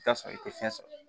I bɛ t'a sɔrɔ i tɛ fiɲɛ sɔrɔ